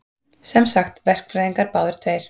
Sem sagt, verkfræðingar báðir tveir.